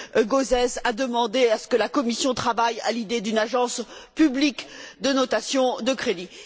Gauzès, à demander à ce que la Commission travaille à l'idée d'une agence publique de notation de crédit.